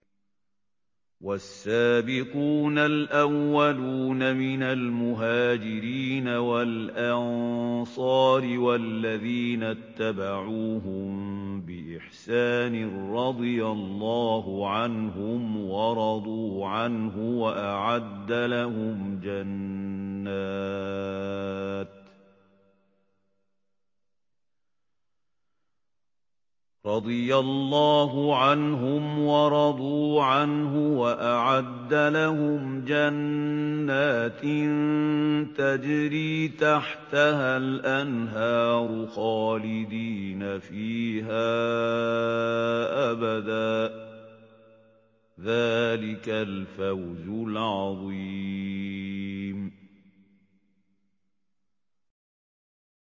وَالسَّابِقُونَ الْأَوَّلُونَ مِنَ الْمُهَاجِرِينَ وَالْأَنصَارِ وَالَّذِينَ اتَّبَعُوهُم بِإِحْسَانٍ رَّضِيَ اللَّهُ عَنْهُمْ وَرَضُوا عَنْهُ وَأَعَدَّ لَهُمْ جَنَّاتٍ تَجْرِي تَحْتَهَا الْأَنْهَارُ خَالِدِينَ فِيهَا أَبَدًا ۚ ذَٰلِكَ الْفَوْزُ الْعَظِيمُ